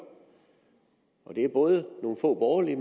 det er både nogle få borgerlige